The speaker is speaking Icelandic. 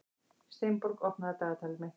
Steinborg, opnaðu dagatalið mitt.